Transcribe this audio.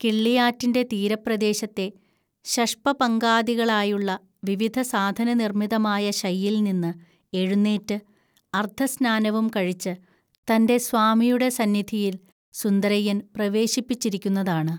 കിള്ളിയാറ്റിന്റെ തീരപ്രദേശത്തെ ശഷ്പപങ്കാദികളായുള്ള വിവിധസാധനനിർമ്മിതമായ ശയ്യിൽനിന്ന് എഴുന്നേറ്റ്, അർദ്ധസ്‌നാനവും കഴിച്ച്, തന്റെ സ്വാമിയുടെ സന്നിധിയിൽ സുന്ദരയ്യൻ പ്രവേശിപ്പിച്ചിരിക്കുന്നതാണ്